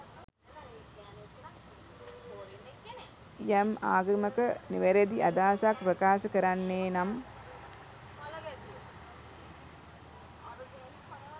යම් ආගමක නිවැරදි අදහසක් ප්‍රකාශ කරන්නේ නම්